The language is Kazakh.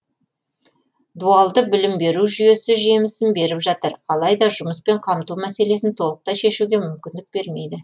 дуалды білім беру жүйесі жемісін беріп жатыр алайда жұмыспен қамту мәселесін толықтай шешуге мүмкіндік бермейді